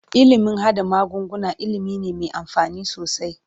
Ilimin haɗa magunguna ilimi ne me amfani sosai.